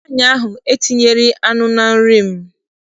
Nwaanyị ahụ etinyeghịrị m anụ na nri m.